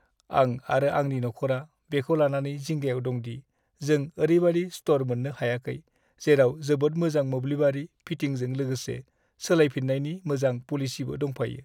आं आरो आंनि नखरा बेखौ लानानै जिंगायाव दं दि जों ओरैबादि स्ट'र मोननो हायाखै, जेराव जोबोद मोजां मोब्लिबारि फिटिंजों लोगोसे सोलायफिन्नायनि मोजां पलिसिबो दंफायो।